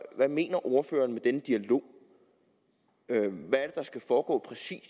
hvad mener ordføreren med denne dialog hvad er skal foregå